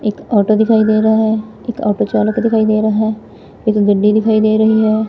ਇੱਕ ਆਟੋ ਦਿਖਾਈ ਦੇ ਰਿਹਾ ਹੈ ਇਕ ਆਟੋ ਚਾਲਕ ਦਿਖਾਈ ਦੇ ਰਹਾ ਹੈ ਇੱਕ ਗੱਡੀ ਦਿਖਾਈ ਦੇ ਰਹੀ ਹੈ।